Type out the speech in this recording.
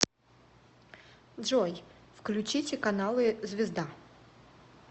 джой включите каналы звезда